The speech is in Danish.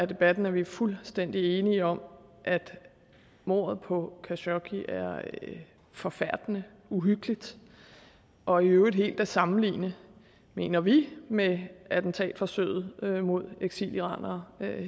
debatten at vi er fuldstændig enige om at mordet på khashoggi er forfærdende og uhyggeligt og i øvrigt helt kan sammenlignes mener vi med attentatforsøget mod eksiliranere